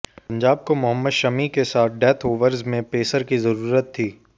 पंजाब को मोहम्मद शमी के साथ डेथ ओवर्स में पेसर की जरूरत थी